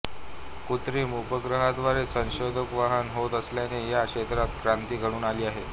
कृत्रिम उपग्रहाद्वारे संदेशवहन होत असल्याने या क्षेत्रात क्रांती घडून आली आहे